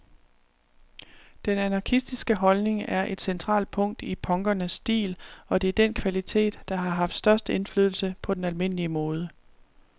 Den anarkistiske holdning er et centralt punkt i punkernes stil, og det er den kvalitet, der har haft størst indflydelse på den almindelige mode.